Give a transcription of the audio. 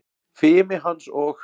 Fimi hans og